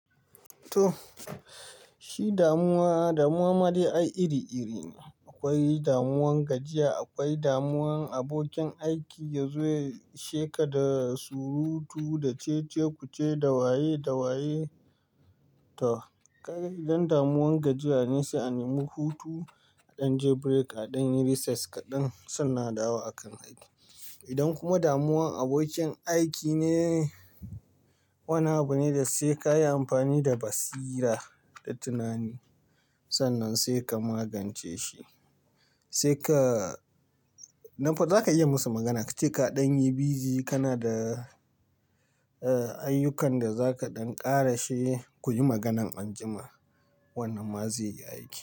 To, shi damuwa, damuwa ma dai a iri-iri ne. Akwai damuwan gajiya, akwai damuwan abokin aiki yazo ya isheka da surutu, da cece-kuce, dawaye-dawaye. To, kai idan damuwan gajiya ne sai a nemi hutu, a dan je break, a dan yi recess kaɗan, sannan a dawo a kan aiki. Idan kuma damuwan abokin aiki ne, wani abu ne da sai ka yi amfani da basira da tunani. Sannan sai ka magance shi. Sai ka-- nan fa zaka iya yi musu magana ka ce kaɗan yi bizi, kana da, eh, ayyukan da zaka dan ƙara she ku yi maganan anjima. Wannan ma zai yi aiki.